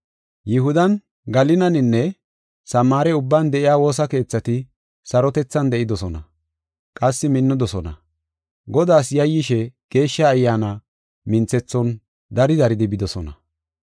Yihudan, Galilaninne Samaare ubban de7iya woosa keethati sarotethan de7idosona. Qassi minnidosona; Godaas yayyishe Geeshsha Ayyaana minthethon dari daridi bidosona.